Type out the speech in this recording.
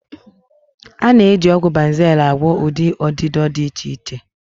A na-eji ọgwụ Banzel agwọ ụdị ọdịdọ dị iche iche.